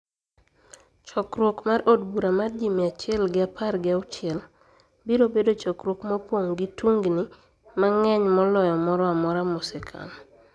Chokruok mar od bura mar ji mia achiel gi apar gi auchiel, biro bedo chokruok mopong' gi tungini mang'eny moloyo moro amora mosekalo.